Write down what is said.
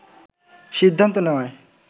সিদ্ধান্ত নেওয়ায়